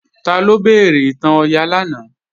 Taló béèrè ìtàn Ọya lánàá?